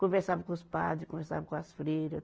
Conversava com os padre, conversava com as freira.